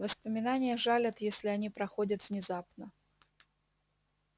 воспоминания жалят если они приходят внезапно